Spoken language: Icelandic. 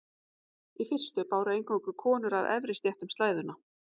Í fyrstu báru eingöngu konur af efri stéttum slæðuna.